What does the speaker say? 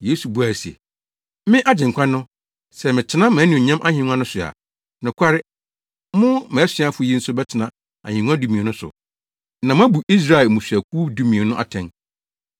Yesu buae se, “Me, Agyenkwa no, sɛ metena mʼanuonyam ahengua no so a, nokware, mo mʼasuafo yi nso bɛtena ahengua dumien no so na moabu Israel mmusuakuw dumien no atɛn.